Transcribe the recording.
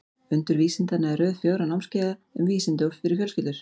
Undur vísindanna er röð fjögurra námskeiða um vísindi fyrir fjölskyldur.